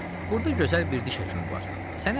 Burda gözəl bir diş həkimi var, səni aparım onun yanına.